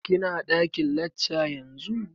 Ki na ɗakin lacca yanzu?